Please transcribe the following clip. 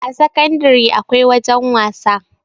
a sakandare akwai wajen wasa